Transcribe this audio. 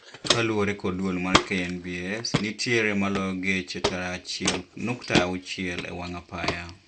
Kaluore kod duol mar KNBS nitiere maloyo geche tara achiel nukta auchiel e wang' apaya